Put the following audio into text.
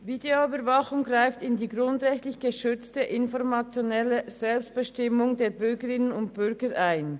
Videoüberwachung greift in die grundrechtlich geschützte informationelle Selbstbestimmung der Bürgerinnen und Bürger ein.